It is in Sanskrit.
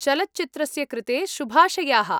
चलच्चित्रस्य कृते शुभाशयाः।